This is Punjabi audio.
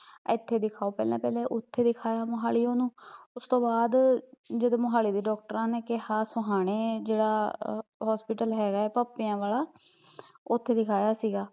ਏਥੇ ਦਿਖਾਓ ਪਹਿਲਾਂ, ਪਹਿਲੇ ਓਥੇ ਦਿਖਾਇਆ ਮੋਹਾਲੀ ਓਹਨੂੰ ਉਸਤੋਂ ਬਾਦ, ਜਦੋਂ ਮੋਹਾਲੀ ਵੀ, ਡੋਕਟਰਾਂ ਨੇ ਕਿਹਾ ਸੋਹਾਣੇ ਜਿਹੜਾ hospital ਹੈਗਾ ਐ ਭੱਪਿਆ ਵਾਲਾ ਓਥੇ ਦਿਖਾਇਆ ਸੀਗਾ